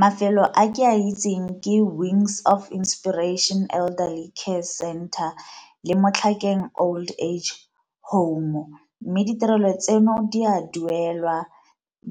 Mafelo a ke a itseng ke Wings of Inspiration Elderly Care Center le Motlhakeng old age home, mme ditirelo tseno di a duelwa.